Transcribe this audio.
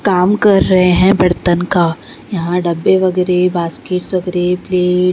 कामकर रहेहैं बर्तन का यहाँ डब्बे वगेरह बास्केट वगेरह प्लेट--